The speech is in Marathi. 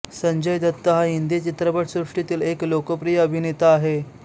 संजय दत्त हा हिंदी चित्रपटसृष्टीतील एक लोकप्रिय अभिनेता आहे